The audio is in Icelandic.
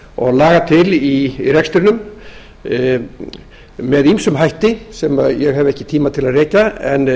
og laga til í rekstrinum með ýmsum hætti sem ég hef ekki tíma til að rekja en